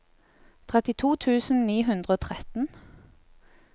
trettito tusen ni hundre og tretten